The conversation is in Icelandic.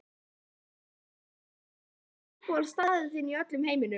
Einhverjir fótboltakappar Hver er uppáhaldsstaðurinn þinn í öllum heiminum?